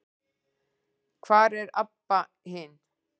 Hvar er Abba hin?